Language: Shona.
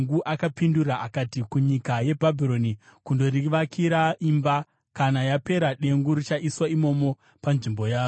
Akapindura akati, “Kunyika yeBhabhironi kundorivakira imba. Kana yapera, dengu richaiswa imomo panzvimbo yaro.”